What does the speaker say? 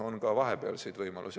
On ka vahepealseid võimalusi.